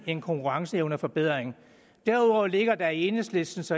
en konkurrenceevneforbedring derudover ligger der i enhedslistens